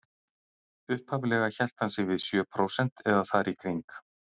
Upphaflega hélt hann sig við sjö prósent eða þar í kring.